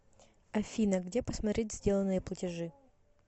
афина где посмотреть сделанные платежи